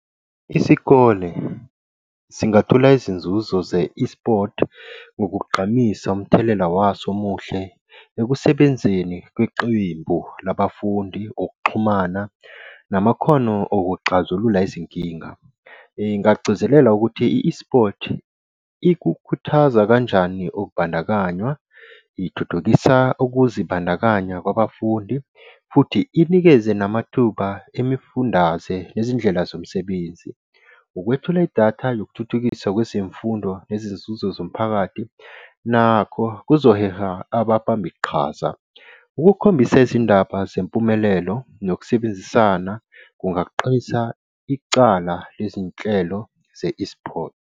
Isikole singethula izinzuzo ze-eSports, ukugqamisa umthelela waso omuhle ekusebenzeni kwiqembu labafundi ngokuxhumana namakhono okuxazulula izinkinga. Ngingagcizelela ukuthi i-eSports ikukhuthaza kanjani ukubandakanya, ithuthukisa ukuzibandakanya kwabafundi futhi inikeze namathuba emifundaze ezindlela zomsebenzi. Ukwethula idatha nokuthuthukisa kwezemfundo nezinzuzo zomphakathi nakho kuzoheha ababamba iqhaza. Ukukukhombisa izindaba zempumelelo nokusebenzisana kungaqinisa icala lezinhlelo ze-eSports.